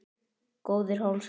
Góðir hálsar!